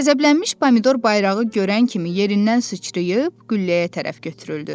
Qəzəblənmiş Pomidor bayrağı görən kimi yerindən sıçrayıb, gülləyə tərəf götürüldü.